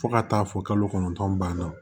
Fo ka taa fɔ kalo kɔnɔntɔn ban na